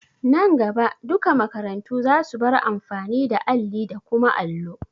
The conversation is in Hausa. Nan gaba duka makarantu za su bar amfani da alli da kuma allo.